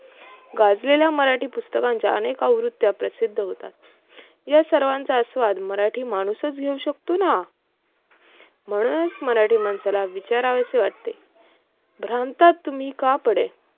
गाजलेल्या मराठी पुस्तकांच्या अनेक आवृत्या प्रसिद्ध होतात, या सर्वांचा आस्वाद मराठी माणूसच घेऊ शकतो ना म्हणूनच मराठी माणसाला विचारावे वाटते भ्रांतात तुम्ही का पडे